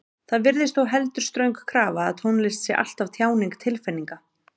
Það virðist þó heldur ströng krafa að tónlist sé alltaf tjáning tilfinninga.